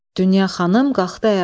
Dünya xanım qalxdı ayağa.